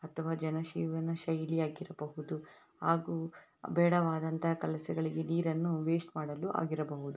ಅಥವಾ ಜನಜೀವನ ಶೈಲಿಯಾಗಿರಬಹುದು ಆಗೂ ಬೇಡವಾದ ಕೆಲಸಗಳಿಗೆ ನೀರನ್ನು ವೇಸ್ಟ್‌ ಮಾಡಲು ಆಗಿರಬಹುದು.